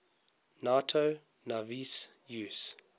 nato navies use